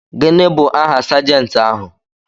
Gịnị bụ aha Sajentị ahụ.